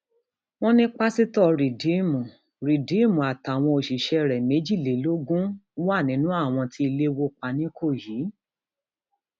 wọn ní pásítọ rìdíìmù rìdíìmù àtàwọn òṣìṣẹ rẹ méjìlélógún wà nínú àwọn tí ilé wó pa nìkòyí